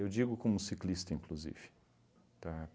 digo como ciclista, inclusive, tá?